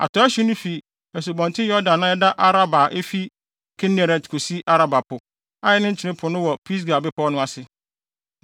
Atɔe hye no fi Asubɔnten Yordan a ɛda Araba a efi Kineret kosi Araba Po (a ɛne Nkyene Po no) wɔ Pisga bepɔw no ase.